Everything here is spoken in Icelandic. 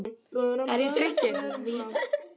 Er ég þreyttur?